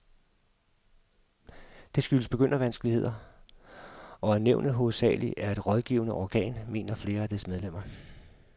Det skyldes begyndervanskeligheder, og at nævnet hovedsageligt er et rådgivende organ, mener flere af dets medlemmer.